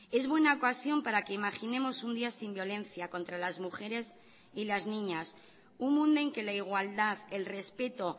es buena ocasión para que imaginemos un día sin violencia contra las mujeres y las niñas un mundo en que la igualdad el respeto